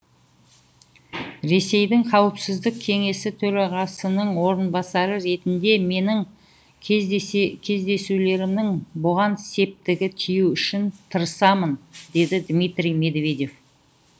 ресейдің қауіпсіздік кеңесі төрағасының орынбасары ретінде менің кездесулерімнің бұған септігі тиюі үшін тырысамын деді дмитрий медведев